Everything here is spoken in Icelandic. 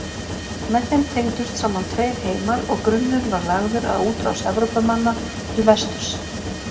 Með þeim tengdust saman tveir heimar og grunnur var lagður að útrás Evrópumanna til vesturs.